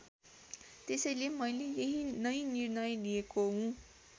त्यसैले मैले यही नै निर्णय लिएको हुँ।